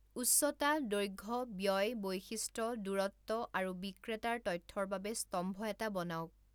উচ্চতা, দৈৰ্ঘ্য, ব্যয়, বৈশিষ্ট্য, দূৰত্ব আৰু বিক্ৰেতাৰ তথ্যৰ বাবে স্তম্ভ এটা বনাওক।